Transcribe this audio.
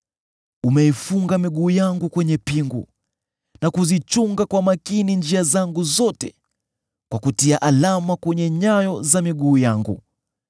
Umeifunga miguu yangu kwenye pingu. Unazichunga kwa makini njia zangu zote kwa kutia alama kwenye nyayo za miguu yangu.